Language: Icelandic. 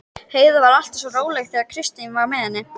Heiða var alltaf svo róleg þegar Kristín var með henni.